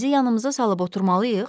əlimizi yanımıza salıb oturmalıyıq?